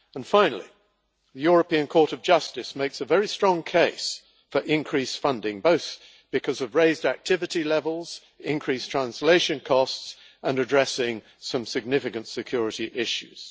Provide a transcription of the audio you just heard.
Finally, the European Court of Justice makes a very strong case for increased funding, both because of raised activity levels and increased translation costs, and for addressing some significant security issues.